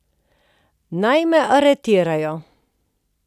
Naj me aretirajo.